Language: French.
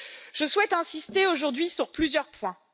Je souhaite insister aujourd'hui sur plusieurs points.